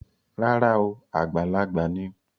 Rárá o, àgbàlagbà ni